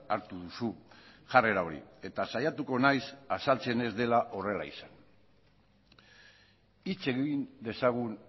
hartu duzu jarrera hori eta saiatuko naiz azaltzen ez dela horrela izan hitz egin dezagun